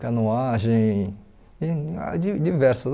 canoagem, tem ah di diversas.